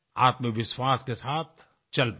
आत्मविश्वास के साथ चल पड़ें